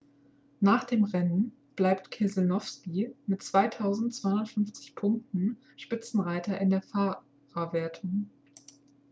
nach dem rennen bleibt keselowski mit 2.250 punkten spitzenreiter in der fahrerwertung